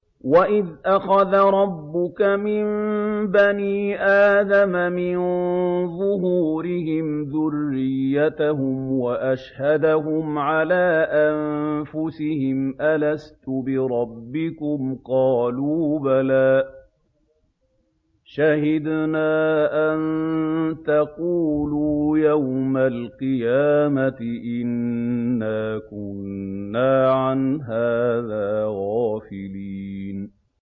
وَإِذْ أَخَذَ رَبُّكَ مِن بَنِي آدَمَ مِن ظُهُورِهِمْ ذُرِّيَّتَهُمْ وَأَشْهَدَهُمْ عَلَىٰ أَنفُسِهِمْ أَلَسْتُ بِرَبِّكُمْ ۖ قَالُوا بَلَىٰ ۛ شَهِدْنَا ۛ أَن تَقُولُوا يَوْمَ الْقِيَامَةِ إِنَّا كُنَّا عَنْ هَٰذَا غَافِلِينَ